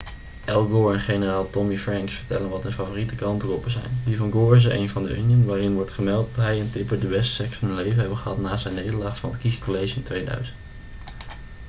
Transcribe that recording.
al gore en generaal tommy franks vertellen wat hun favoriete krantenkoppen zijn die van gore is er een van the onion waarin wordt gemeld dat hij en tipper de beste seks van hun leven hebben gehad na zijn nederlaag van het kiescollege in 2000